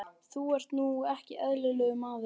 Þú ert nú ekki eðlilegur, maður!